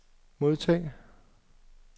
modtag